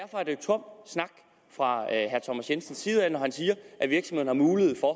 er det tom snak fra herre thomas jensens side når han siger at virksomhederne har mulighed for